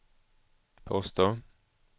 påstår